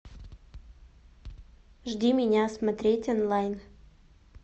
жди меня смотреть онлайн